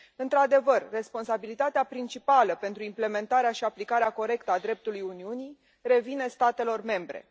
Într adevăr, responsabilitatea principală pentru implementarea și aplicarea corectă a dreptului Uniunii revine statelor membre.